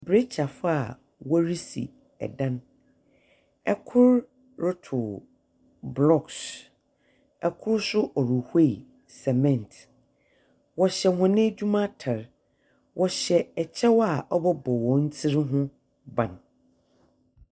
Brekyafoɔ a wɔresi dan. Kor rotow blocks. Kor nso ɔrehwie cement. Wɔhyɛ hɔn edwuma atar. Wɔhyɛ kyɛw a ɔbɛbɔ hɔn tsir ho ban.